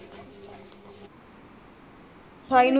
ਅਠਾਈ ਨੂੰ।